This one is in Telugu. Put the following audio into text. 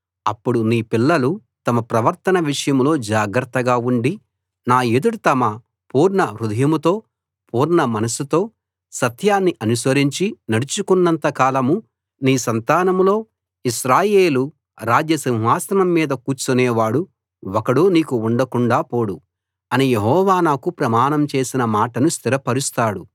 అప్పుడు నీ పిల్లలు తమ ప్రవర్తన విషయంలో జాగ్రత్తగా ఉండి నా ఎదుట తమ పూర్ణ హృదయంతో పూర్ణ మనస్సుతో సత్యాన్ని అనుసరించి నడుచుకున్నంత కాలం నీ సంతానంలో ఇశ్రాయేలు రాజ్య సింహాసనం మీద కూర్చునే వాడు ఒకడు నీకు ఉండకుండాా పోడు అని యెహోవా నాకు ప్రమాణం చేసిన మాటను స్థిరపరుస్తాడు